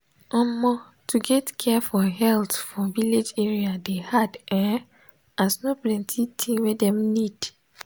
omo to get care for health for village area dey hard[um]as no plenti thing wey dem need.